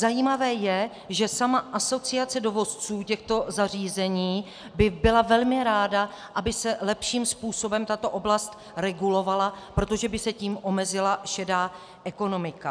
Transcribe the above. Zajímavé je, že sama asociace dovozců těchto zařízení by byla velmi ráda, aby se lepším způsobem tato oblast regulovala, protože by se tím omezila šedá ekonomika.